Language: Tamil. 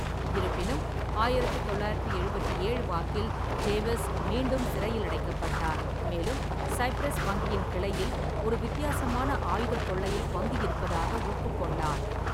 இருப்பினும், ஆயிரத்து தொள்ளாயிரத்து எழுபத்தி ஏழு வாக்கில், டேவிஸ் மீண்டும் சிறையில் அடைக்கப்பட்டார், மேலும் சைப்ரஸ் வங்கியின் கிளையில் ஒரு வித்தியாசமான ஆயுதக் கொள்ளையில் பங்கு இருப்பதாக ஒப்புக்கொண்டார்.